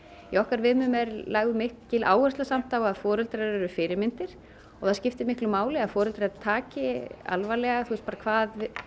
í okkar viðmiðunum er lögð mikil áhersla á að foreldrar eru fyrirmyndir og það skipti miklu máli að foreldrar taki alvarlega hvað